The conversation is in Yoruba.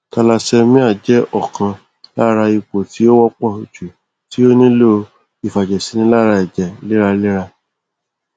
thallassemia jẹ ọ̀kan lára ipò tí ó wọ́pọ̀ jù tí ó nílò ìfàjẹsínilára ẹ̀jẹ̀ léraléra